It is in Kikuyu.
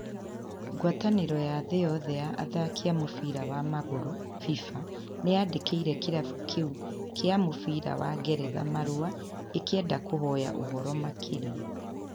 Ngwatanĩro ya thĩ yothe ya athaki a mũbira wa magũrũ (FIFA) nĩ yandĩkĩire kirabu kiu kia mũbira wa Ngeretha marũa ĩ kĩenda kũhoya ũhoro makĩria.